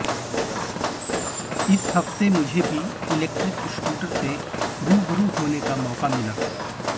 इस हफ्ते मुझे भी इलेक्ट्रिक स्कूटर से रूबरू होने का मौका मिला